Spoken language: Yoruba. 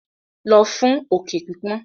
Lọ fún òkè pípọ́n.